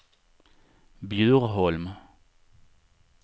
Bjurholm